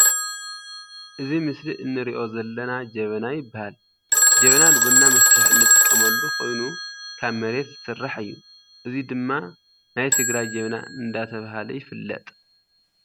እዚ ምስሊ እንሪኦ ዘለና ጀበና ይባሃል። ጀበና ንቡና መፍልሒ እንጥቀመሉ ኮይኑ ካብ መሬት ዝስራሕ እዩ። እዚ ድማ ናይ ትግራይ ጀበና እንዳተባሃለ ይፍለጥ።